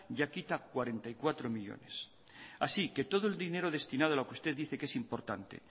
ya quita cuarenta y cuatro millónes así que todo el dinero destinado a lo que usted dice que es importante